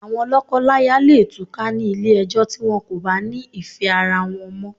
Àwon lọ̀kọ láya leè túká ni Ilé ẹjọ́ ti wọ́n ko bá ni ìfẹ́ ara wọ́n mọ́